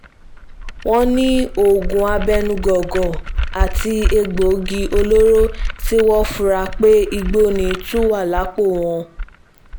wọ́n ní oògùn abẹ́nú góńgó àti egbòogi olóró tí wọ́n fura pé igbó ni tún wà lápò wọn